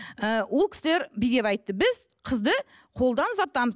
ііі ол кісілер бүйдеп айтты біз қызды қолдан ұзатамыз